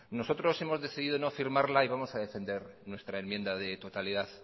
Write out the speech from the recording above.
nosotros hemos decidido no firmarla y vamos a defender nuestra enmienda de totalidad